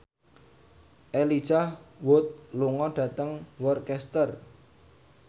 Elijah Wood lunga dhateng Worcester